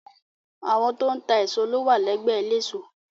Àwọn tó ń ta èso ló wà lẹ́gbẹ́ eléso.